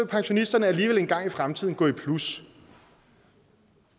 pensionisterne alligevel engang i fremtiden gå i plus